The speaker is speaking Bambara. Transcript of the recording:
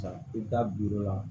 I ta la